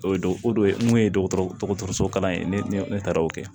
O ye don o don mun ye dɔgɔtɔrɔso kalan ye ne taara o kɛ